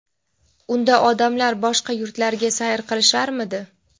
unda odamlar boshqa yurtlarga sayr qilisharmidi?!.